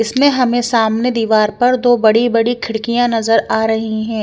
इसमे हमे सामने दीवार पर दो बड़ी बड़ी खिड़कियां नजर आ रही है।